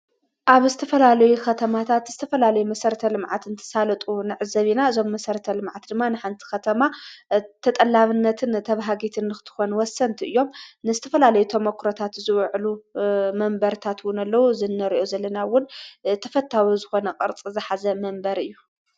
ኣብ እስተፈላለይ ኸተማታት እስተፈላለይ መሠረተ ልምዓት እንተሣለጡ ንዕ ዘቢና ዞም መሠረተ ልምዓት ድማ ንሓንቲ ኸተማ ተጠላብነትን ተብሃጊትን ንኽትኾን ወሰንቲ እዮም ንስትፈላለይ ተመክሮታት ዝውዕሉ መንበርታትውን ኣለዉ ዘነርኦ ዘለናውን ተፈታዊ ዝኾነ ቐርጽ ዘኃዘ መንበር እዩ።